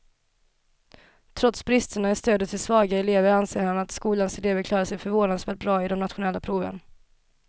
Trots bristerna i stödet till svaga elever anser han att skolans elever klarar sig förvånansvärt bra i de nationella proven.